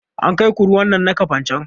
An kai ku ruwan nan na kafancan?